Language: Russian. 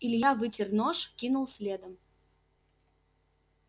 илья вытер нож кинул следом